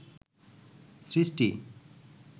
সৃষ্টি